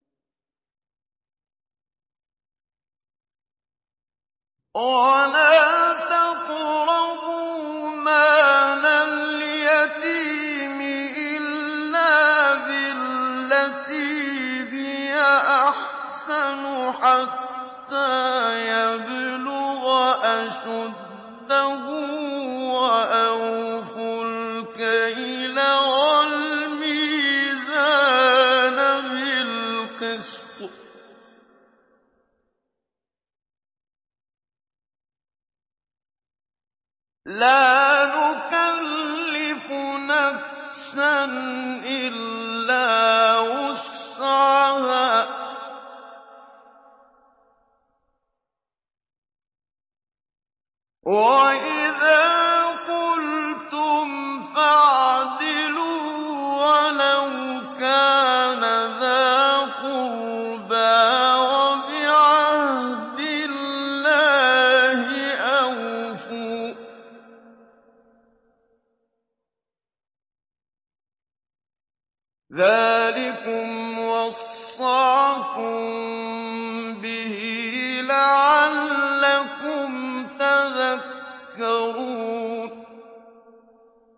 وَلَا تَقْرَبُوا مَالَ الْيَتِيمِ إِلَّا بِالَّتِي هِيَ أَحْسَنُ حَتَّىٰ يَبْلُغَ أَشُدَّهُ ۖ وَأَوْفُوا الْكَيْلَ وَالْمِيزَانَ بِالْقِسْطِ ۖ لَا نُكَلِّفُ نَفْسًا إِلَّا وُسْعَهَا ۖ وَإِذَا قُلْتُمْ فَاعْدِلُوا وَلَوْ كَانَ ذَا قُرْبَىٰ ۖ وَبِعَهْدِ اللَّهِ أَوْفُوا ۚ ذَٰلِكُمْ وَصَّاكُم بِهِ لَعَلَّكُمْ تَذَكَّرُونَ